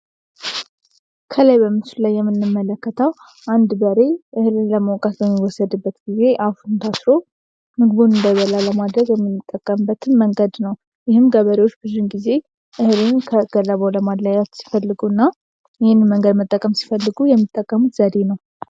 ከላይ በምስሉ ላይ የምንመለከተው አንድ በሬ እህልን ለማውቃት በሚወሰድበት ጊዜ አፉን ታስሮ እንዳይበላ የሚደረግበት በምንጠቀምበትን መንገድ ነው። ይህም ገበሬዎች ብዙን ጊዜ እህሉን ከገለባው ለማለያየት ሲፈልጉ እና ይህንን መንገድ መጠቀም ሲፈልጉ የሚጠቀሙት ዘዴ ነው።